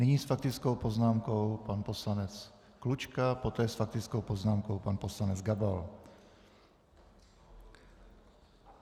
Nyní s faktickou poznámkou pan poslanec Klučka, poté s faktickou poznámkou pan poslanec Gabal.